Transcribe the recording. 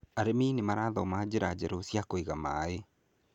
Arĩmi nĩ marathoma njĩra njeru cia kũiga maaĩ.